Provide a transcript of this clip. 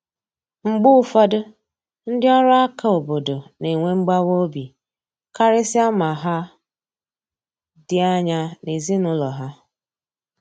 Mgbe ụfọdụ, ndị ọrụ aka obodo na enwe mgbawa obi, karịsịa ma ha dị anya n’ezinụlọ ha.